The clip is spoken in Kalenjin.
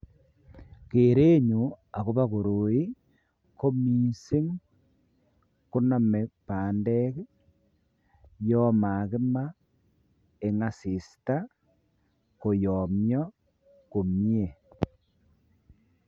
Keren nyuun agobo koroi ko missing koname pandeek ii Yoon makimaa eng assista koyamyaa komyei.